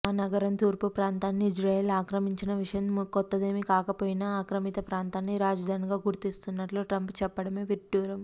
ఆనగరం తూర్పు ప్రాంతాన్ని ఇజ్రాయెల్ ఆక్రమించిన విషయం కొత్తదేవిూ కాకపోయినా ఆక్రమిత ప్రాంతాన్ని రాజధానిగా గుర్తిస్తున్నట్లు ట్రంప్ చెప్పడమే విడ్డూరం